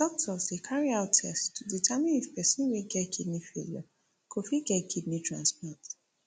doctors dey carry out tests to determine if pesin wey get kidney failure go fit get kidney transplant